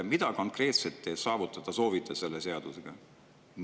Mida konkreetset te soovite selle seadusega saavutada?